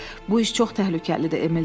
Bu iş çox təhlükəlidir, Emil dedi.